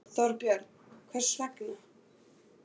Þorbjörn: Hvers vegna?